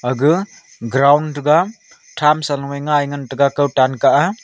aga ground thega thamsa loye ngai ngan taga kawtan kah a.